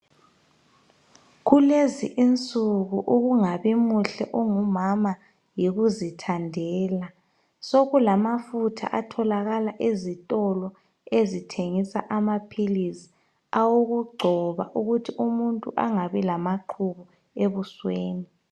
Kulezi insuku ukungabi muhle ungumama yikuzithandela sokulafutha atholakala ezitolo ezithengisa amapills awokungcoba ukuthi umuntu engabi lamaqhubu ebusweni